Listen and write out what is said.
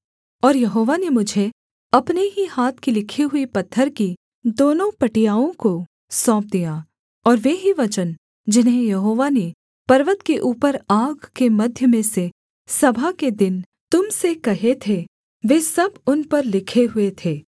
और यहोवा ने मुझे अपने ही हाथ की लिखी हुई पत्थर की दोनों पटियाओं को सौंप दिया और वे ही वचन जिन्हें यहोवा ने पर्वत के ऊपर आग के मध्य में से सभा के दिन तुम से कहे थे वे सब उन पर लिखे हुए थे